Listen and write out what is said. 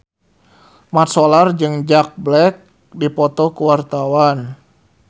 Mat Solar jeung Jack Black keur dipoto ku wartawan